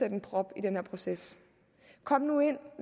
en prop i den her proces kom nu ind